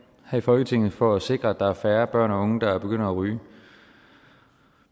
her i folketinget for at sikre at der er færre børn og unge der begynder at ryge